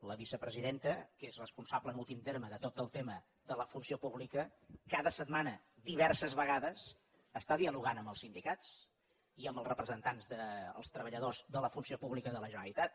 la vicepresidenta que és responsable en últim terme de tot el tema de la funció pública cada setmana diverses vegades està dialogant amb els sindicats i amb els representants dels treballadors de la funció pública de la generalitat